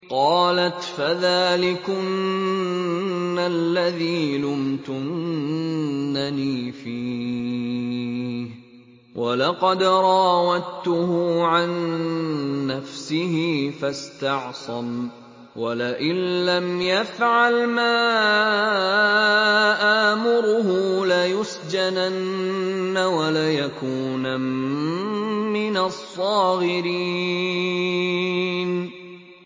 قَالَتْ فَذَٰلِكُنَّ الَّذِي لُمْتُنَّنِي فِيهِ ۖ وَلَقَدْ رَاوَدتُّهُ عَن نَّفْسِهِ فَاسْتَعْصَمَ ۖ وَلَئِن لَّمْ يَفْعَلْ مَا آمُرُهُ لَيُسْجَنَنَّ وَلَيَكُونًا مِّنَ الصَّاغِرِينَ